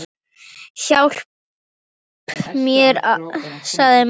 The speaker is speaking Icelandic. Hjálpi mér, sagði mamma.